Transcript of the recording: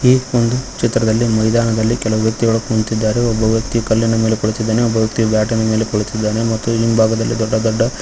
ಈ ಒಂದು ಚಿತ್ರದಲ್ಲಿ ಮೈದಾನದಲ್ಲಿ ಕೆಲವು ವ್ಯಕ್ತಿಗಳು ಕುಂತಿದ್ದಾರೆ ಒಬ್ಬ ವ್ಯಕ್ತಿ ಕಲ್ಲಿನ ಮೇಲೆ ಕುಳಿತಿದ್ದಾನೆ ಒಬ್ಬ ವ್ಯಕ್ತಿಯು ಬ್ಯಾಟ್ ಇನ ಮೇಲೆ ಕುಳಿತಿದ್ದಾನೆ ಮತ್ತು ಹಿಂಭಾಗದಲ್ಲಿ ದೊಡ್ಡ ದೊಡ್ಡ --